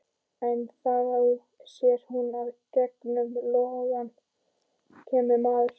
En þá sér hún að í gegnum logana kemur maður.